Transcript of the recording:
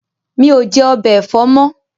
Mi ò jẹ̀ “ọbẹ̀ ẹ̀fọ́” mọ́.